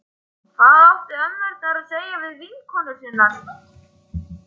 Hvað áttu ömmurnar að segja við vinkonur sínar?